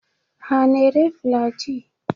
Ha na-ere Flaji?